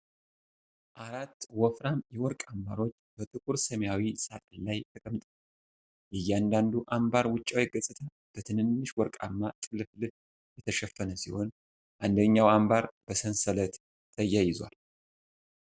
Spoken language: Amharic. አራት ወፍራም የወርቅ አንባሮች በጥቁር ሰማያዊ ሳጥን ላይ ተቀምጠዋል። የእያንዳንዱ አንባር ውጫዊ ገጽታ በትንንሽ ወርቃማ ጥልፍልፍ የተሸፈነ ሲሆን፣ አንደኛው አንባር በሰንሰለት ተያይዟል።